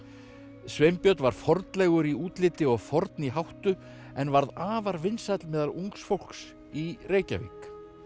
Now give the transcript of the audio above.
Sveinbjörn var fornlegur í útliti og forn í háttu en var afar vinsæll meðal ungs fólks í Reykjavík